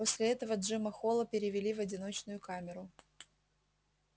после этого джима холла перевели в одиночную камеру